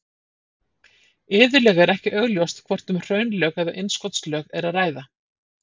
iðulega er ekki augljóst hvort um hraunlög eða innskotslög er að ræða